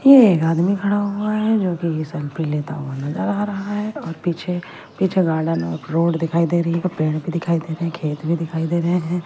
ये एक आदमी खड़ा हुआ है जो कि सेल्फी लेता हुआ नजर आ रहा है और पीछे पीछे गार्डन और रोड दिखाई दे रही है पेड़ भी दिखाई दे रही है खेत भी दिखाई दे रहे हैं।